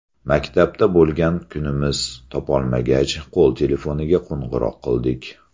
Maktabda bo‘lgan kunimiz topolmagach, qo‘l telefoniga qo‘ng‘iroq qildik.